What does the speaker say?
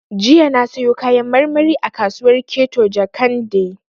Jiya na sayo Kayan marmari a kasuwar Keto Jakande